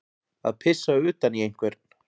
Að pissa utan í einhvern